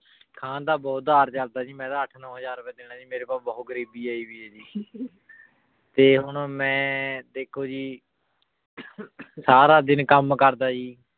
ਖਾਂ ਦਾ ਬੋਹਤ ਉਧਰ ਚਲਦਾ ਜੀ ਮੈਂ ਤਾਂ ਅਠ ਨੋ ਹਜ਼ਾਰ ਦੇਣਾ ਜੀ ਮੇਰੇ ਕੋਲ ਬੋਹਤ ਗਰੀਬੀ ਆਈ ਯਜ਼ੀ ਤੇ ਹੁਣ ਮੈਂ ਦੇਖੋ ਜੀ ਸਾਰਾ ਦਿਨ ਕਾਮ ਕਰਦਾ ਜੀ